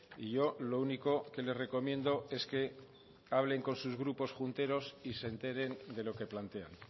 y yo lo único que le recomiendo es que hablen con sus grupos junteros y se enteren de lo que plantean